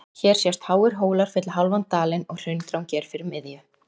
Hér sjást háir hólar fylla hálfan dalinn og Hraundrangi er fyrir miðju